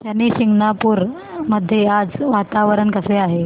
शनी शिंगणापूर मध्ये आज वातावरण कसे आहे